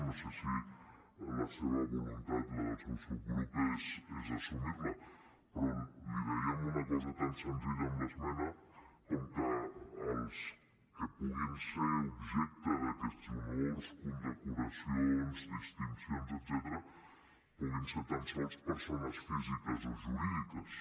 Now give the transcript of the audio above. no sé si la seva voluntat la del seu subgrup és assumir la però li dèiem una cosa tan senzilla amb l’esmena com que els que puguin ser objecte d’aquests honors condecoracions distincions etcètera puguin ser tan sols persones físiques o jurídiques